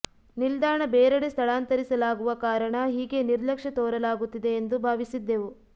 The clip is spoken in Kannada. ನಿಲ್ದಾಣ ಬೇರೆಡೆ ಸ್ಥಳಾಂತರಿಸಲಾಗುವ ಕಾರಣ ಹೀಗೆ ನಿರ್ಲಕ್ಷ್ಯ ತೋರಲಾಗುತ್ತಿದೆ ಎಂದು ಭಾವಿಸಿದ್ದೆವು